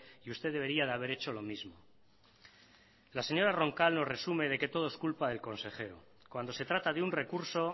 y usted debería de haber hecho lo mismo la señora roncal lo resume de que todo es culpa del consejero cuando se trata de un recurso